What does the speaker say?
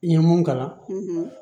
N ye mun kalan